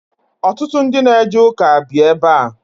Ọtụtụ ndị na eje ụka bi ebe a.